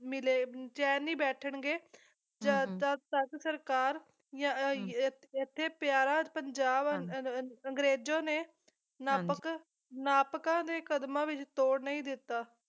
ਮਿਲੇ ਚੈਨ ਨਹੀਂ ਬੈਠਣਗੇ ਜਦ ਤਕ ਤਦ ਸਰਕਾਰ ਜਾਂ ਯ ਇੱਥੇ ਪਿਆਰਾ ਪੰਜਾਬ ਅਹ ਅਹ ਅੰਗਰੇਜੋ ਨੇ ਨਾਪਕ ਨਾਪਕਾਂ ਦੇ ਕਦਮਾਂ ਵਿੱਚ ਤੋੜ ਨਹੀਂ ਦਿੱਤਾ।